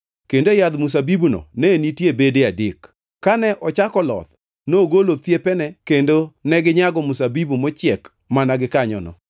kendo e yadh mzabibuno ne nitie bede adek. Kane ochako loth, nogolo thiepene kendo neginyago mzabibu mochiek mana gikanyono.